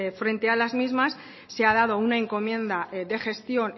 frente a las mismas se ha dado una encomienda de gestión